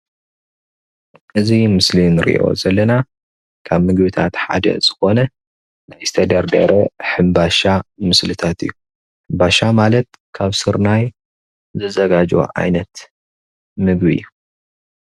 እዚ ኣብ ምስሊ እንርእዮ ዘለና ካብ ምግብታት ሓደ ዝኾነ ዝተደርደሩ ሕንባሻ ምስልታት እዩ። ሕንባሻ ማለት ካብ ስርናይ ዝዘጋጀው ዓይነት ምግቢ እዩ።